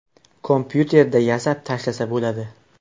Kompyuterda yasab tashlasa bo‘ladi.